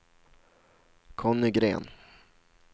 Conny Gren